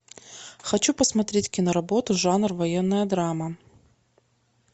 хочу посмотреть киноработу жанр военная драма